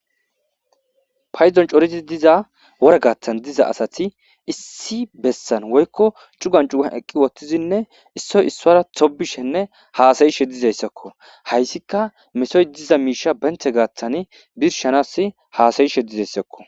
payzon corizi diza wora gaattan diza asati issi bessan woykko cugan cugan eqqi wottizinne issoy issoara tobishenne haasayishe dizayssakko hayssika mesoy diza miisha benthe gaattan birshanas haasayishe dizayssakko